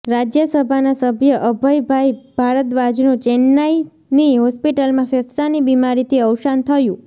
રાજ્યસભાના સભ્ય અભયભાઈ ભારદ્વાજનું ચેન્નાઈની હોસ્પિટલમાં ફેફ્સાંની બીમારીથી અવસાન થયું